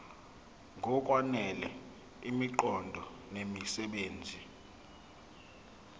ngokwanele imiqondo nemisebenzi